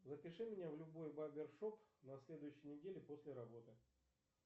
запиши меня в любой барбершоп на следующей неделе после работы